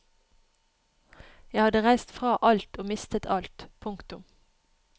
Jeg hadde reist fra alt og mistet alt. punktum